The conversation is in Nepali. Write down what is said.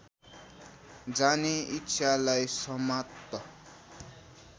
जाने इच्छालाई समाप्त